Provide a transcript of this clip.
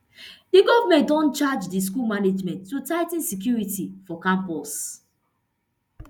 di goment den charge di school management to tigh ten security for campus